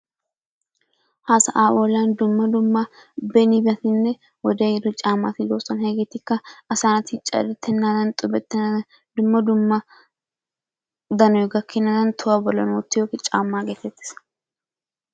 Ha sa'aa bolla dumma dumma benibatinne wodee ehiiddo caammati de'oosona. Hegeetikka asa naati caddettenaadan xubbettenaadan dumma dumma danoy gakkenaadan tohuwa bollan wottiyogee caammaa geetettees.